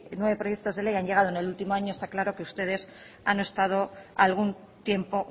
han llegado en el último año está claro que ustedes han estado algún tiempo